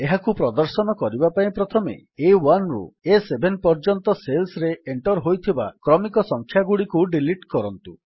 ଏହାକୁ ପ୍ରଦର୍ଶନ କରିବା ପାଇଁ ପ୍ରଥମେ A1ରୁ ଆ7 ପର୍ଯ୍ୟନ୍ତ ସେଲ୍ସରେ ଏଣ୍ଟର୍ ହୋଇଥିବା କ୍ରମିକ ସଂଖ୍ୟାଗୁଡ଼ିକୁ ଡିଲିଟ୍ କରନ୍ତୁ